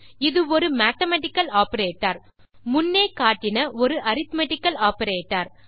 இது ஒரு mathematical operator முன்னே காட்டின ஒரு அரித்மெட்டிக்கல் ஆப்பரேட்டர்